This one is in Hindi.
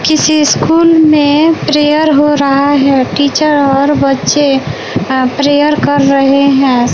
किसी स्कूल में प्रेयर हो रहा है टीचर और बच्चे अ प्रेयर कर रहे है।